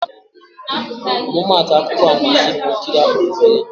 Ọmụmaatụ akụkọ anwansị bụ nkiri akpọrọ "Merlin."